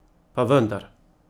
Pa vendar!